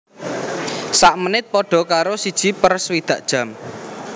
Sak menit padha karo siji per swidak jam